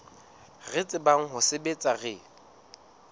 re tsebang ho sebetsa re